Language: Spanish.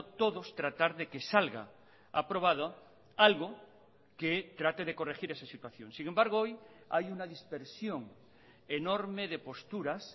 todos tratar de que salga aprobado algo que trate de corregir esa situación sin embargo hoy hay una dispersión enorme de posturas